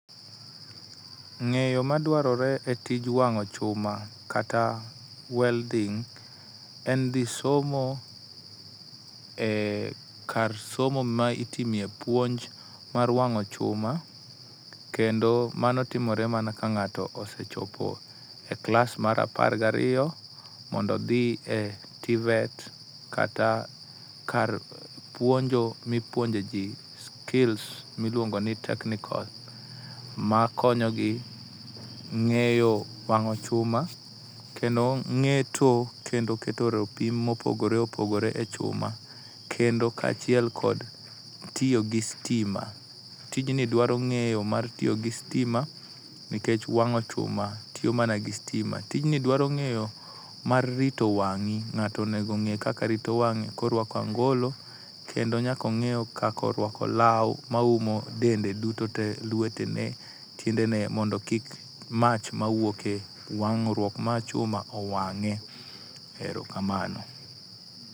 Ng'eyo madwarore e tij wang'o chuma kata welding' en dhi somo e kar somo ma itime puonj mar wang'o chuma kendo mano timore mana ka ng'ato sechopo klas mar apar gariyo mondo odhi e TVET kata kar puonjo mipuonjeji skills miluongo ni technical makonyogi ng'eyo wang'o chuma kendo ng'eto kendo keto ropim mopogore opogore e chuma. Kendo kaachiel kod tiyo gi sitima. Tijni dwaro ng'eyo mar tiyo gi sitima nikech wang'o chuma tiyo mana gi sitima. Tijni dwaro ng'eyo mar rito wang'i, ng'ato onego ong'e kaka rito wang'e ka oruako angolo kendo nyaka ong'e kaka oruako law ma oumo dende duto tee lwetene, tiendene mondo kik mach mawuok e wang'ruok mar chuma owang'e. Erokamano.